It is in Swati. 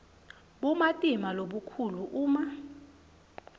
bumatima lobukhulu uma